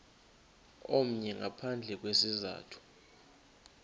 omnye ngaphandle kwesizathu